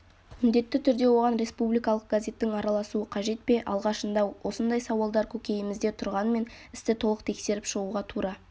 міндетті түрде оған республикалық газеттің араласуы қажет пе алғашында осындай сауалдар көкейімізде тұрғанмен істі толық тексеріп шығуға тура